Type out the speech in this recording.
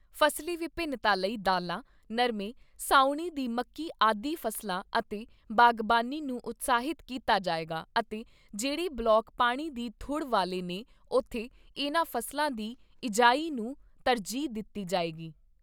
ਫਸਲੀ ਵਿੰਭਿਨਤਾ ਲਈ ਦਾਲਾਂ, ਨਰਮੇ, ਸਾਉਣੀ ਦੀ ਮੱਕੀ ਆਦਿ ਫ਼ਸਲਾਂ ਅਤੇ ਬਾਗਬਾਨੀ ਨੂੰ ਉਤਸ਼ਾਹਿਤ ਕੀਤਾ ਜਾਏਗਾ ਅਤੇ ਜਿਹੜੇ ਬਲਾਕ ਪਾਣੀ ਦੀ ਥੁੜ ਵਾਲੇ ਨੇ ਉਥੇ ਇਨ੍ਹਾਂ ਫ਼ਸਲਾਂ ਦੀ ਬਿਜਾਈ ਨੂੰ ਤਰਜੀਹ ਦਿੱਤੀ ਜਾਏਗੀ।